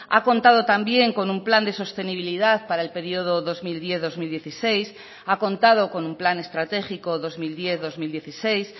ha contado también con un plan de sostenibilidad para el periodo dos mil diez dos mil dieciséis ha contado con un plan estratégico dos mil diez dos mil dieciséis